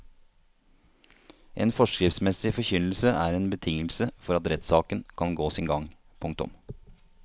En forskriftsmessig forkynnelse er en betingelse for at rettssaken kan gå sin gang. punktum